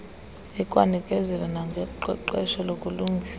ikwanikezela nangoqeqesho lokulungisa